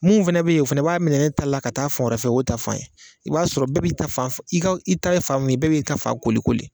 Mun fɛnɛ be ye o fɛnɛ b'a minɛ ne ta la ka taa fɔ wɛrɛ fɛ o ta fan ye. I b'a sɔrɔ bɛɛ b'i ta fan f i ka i ta ye fan mun ye bɛɛ b'i ta fan koli koli.